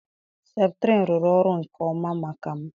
septrin rụrụ ọrụ nke ọma maka m.